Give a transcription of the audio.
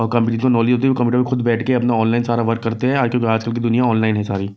Computer पर खुद बैठके अपना ऑनलाइन सारा वर्क करते हैं आज कल आज कल की दुनिया ऑनलाइन है सारी।